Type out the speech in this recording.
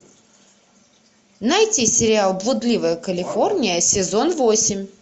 найти сериал блудливая калифорния сезон восемь